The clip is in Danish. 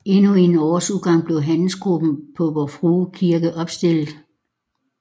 Endnu inden årets udgang blev Johannesgruppen på Vor Frue Kirke opstillet